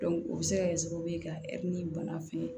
o bɛ se ka kɛ sababu ye ka bana fɛn